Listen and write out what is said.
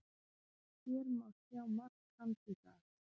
Hér má sjá mark hans í dag.